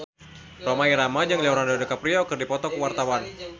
Rhoma Irama jeung Leonardo DiCaprio keur dipoto ku wartawan